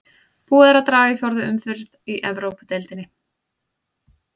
Búið er að draga í fjórðu umferð í Evrópudeildinni.